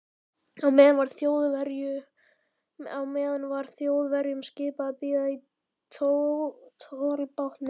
Á meðan var Þjóðverjunum skipað að bíða í tollbátnum.